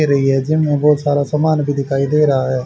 ये रही है जिम बहोत सारा समान भी दिखाई दे रहा है।